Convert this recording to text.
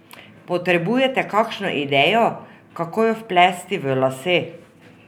Potrebujete kakšno idejo, kako jo vplesti v lase?